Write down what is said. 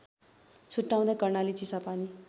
छुट्टाउँदै Karnali Chisapani